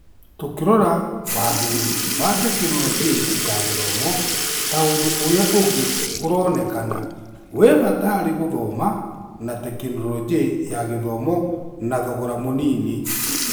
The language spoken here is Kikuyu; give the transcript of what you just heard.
Tũkĩrora wagĩrĩru wa Tekinoronjĩ ya Gĩthomo, ta ũndũ ũrĩa ũngĩ ũronekana wĩwabata harĩ gũthoma na tekinoronjĩ ya gĩthomo na thogora mũnini.